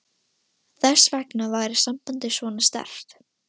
Þess vegna væri sambandið svona sterkt.